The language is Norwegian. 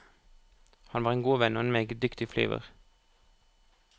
Han var en god venn og en meget dyktig flyver.